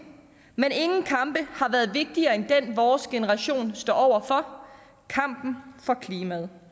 men ingen kampe har været vigtigere end den vores generation står over for kampen for klimaet